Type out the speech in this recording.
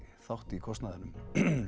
þátt í kostnaðinum